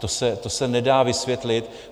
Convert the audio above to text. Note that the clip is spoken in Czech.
To se nedá vysvětlit.